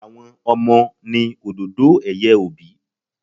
Àwọn Ọmọ ni òdòdó ẹ̀yẹ òbí.